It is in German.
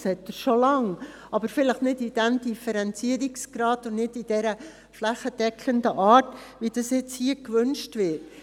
Das hat er schon lange, aber vielleicht nicht in diesem Differenzierungsgrad und nicht in dieser flächendeckenden Art, wie es nun gewünscht wird.